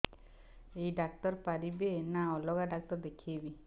ଏଇ ଡ଼ାକ୍ତର ପାରିବେ ନା ଅଲଗା ଡ଼ାକ୍ତର ଦେଖେଇବି